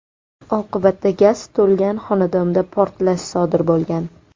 Oqibatda gaz to‘lgan xonadonda portlash sodir bo‘lgan.